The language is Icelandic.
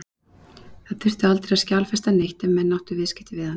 Það þurfti aldrei að skjalfesta neitt ef menn áttu viðskipti við hann.